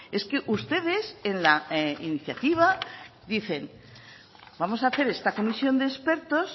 es que ustedes en la iniciativa dicen vamos a hacer esta comisión de expertos